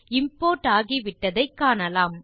import ஆகிவிட்டதை காணலாம்